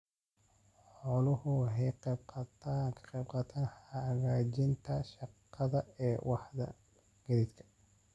Xooluhu waxay ka qaybqaataan hagaajinta shaqada ee waaxda gaadiidka.